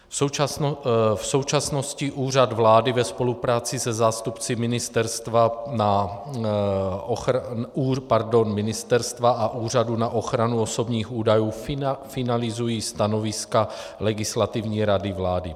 V současnosti Úřad vlády ve spolupráci se zástupci ministerstva a Úřadu na ochranu osobních údajů finalizují stanoviska Legislativní rady vlády.